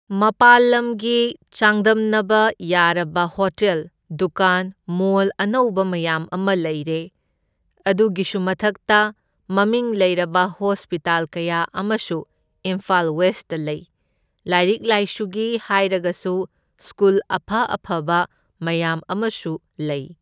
ꯃꯄꯥꯜ ꯂꯝꯒ ꯆꯥꯡꯗꯝꯅꯕ ꯌꯥꯔꯕ ꯍꯣꯇꯦꯜ, ꯗꯨꯀꯥꯟ, ꯃꯣꯜ ꯑꯅꯧꯕ ꯃꯌꯥꯝ ꯑꯃ ꯂꯩꯔꯦ, ꯑꯗꯨꯒꯤꯁꯨ ꯃꯊꯛꯇ ꯃꯃꯤꯡ ꯂꯩꯔꯕ ꯍꯣꯁꯄꯤꯇꯥꯜ ꯀꯌꯥ ꯑꯃꯁꯨ ꯏꯝꯐꯥꯜ ꯋꯦꯁꯇ ꯂꯩ꯫ ꯂꯥꯏꯔꯤꯛ ꯂꯥꯏꯁꯨꯒꯤ ꯍꯥꯏꯔꯒꯁꯨ ꯁ꯭ꯀꯨꯜ ꯑꯐ ꯑꯐꯕ ꯃꯌꯥꯝ ꯑꯃꯁꯨ ꯂꯩ꯫